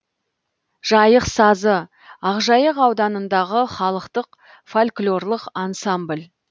жайық сазы ақжайық ауданындағы халықтық фольклорлық ансамбль